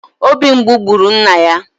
Obi mgbu gburu nna ya